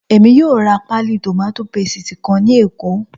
Èmi yóò ra páálí tòmátò pésìtì kan ní Èkó